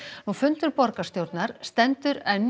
nú fundur borgarstjórnar stendur enn